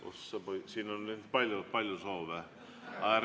Oh sa poiss, siin on nüüd palju soove!